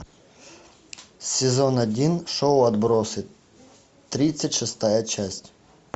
сезон один шоу отбросы тридцать шестая часть